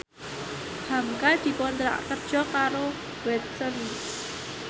hamka dikontrak kerja karo Watson